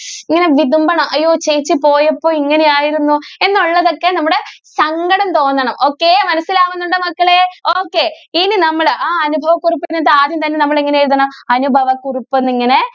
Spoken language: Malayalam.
ഇങ്ങനെ വിതുമ്പണം. ഈ ചേച്ചി പോയപ്പോൾ ഇങ്ങനെ ആയിരുന്നു എന്നുള്ളത് ഒക്കെ നമ്മുടെ സങ്കടം തോന്നണം okay മനസിലാകുന്നുണ്ടോ മക്കളെ okay ഇനി നമ്മൾ ആ അനുഭവ കുറിപ്പിൽ എന്നിട്ട് ആദ്യം തന്നെ നമ്മൾ എങ്ങനെ എഴുതണം അനുഭവ കുറിപ്പ് എന്നിങ്ങനെ